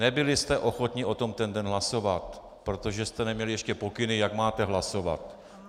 Nebyl jste ochotni o tom ten den hlasovat, protože jste neměli ještě pokyny, jak máte hlasovat.